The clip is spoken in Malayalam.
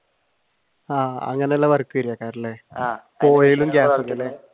ആഹ് അങ്ങനെയുള്ള